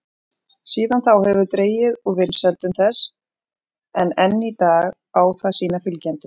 Síðan þá hefur dregið úr vinsældum þess en enn í dag á það sína fylgjendur.